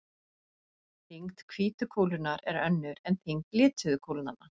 Þyngd hvítu kúlunnar er önnur en þyngd lituðu kúlnanna.